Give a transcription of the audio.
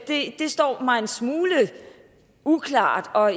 det står mig en smule uklart og